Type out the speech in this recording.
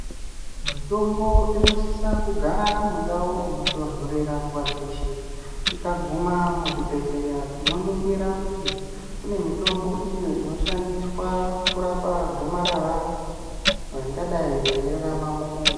Mitombo inosisa kugara mundau inotondorera nguva dzeshe. Tikaguma muzvibhedhleya tinoningira kuti kune mitombo iyo inoshandiswa kurapa gomarara ringadai reirarama mumunhu.